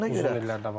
Uzun illər davam edir.